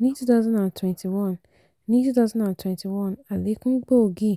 ní 2021 ní 2021 àlékún gbòógì